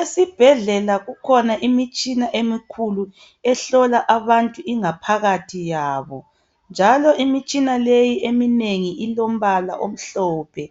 Esibhedlela kukhona imitshina emikhulu ehlola abantu ingaphakathi yabo njalo imitshina leyi eminengi ilombala omhlophe